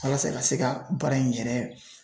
Walasa ka se ka baara in yɛrɛ